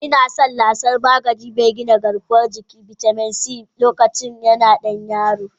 Ina son lasan magani mai gina garkuwan jiki/bitamin C, a lokacinda ina dan yaro.